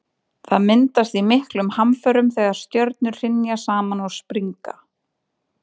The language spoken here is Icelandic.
Það myndast í miklum hamförum þegar stjörnur hrynja saman og springa.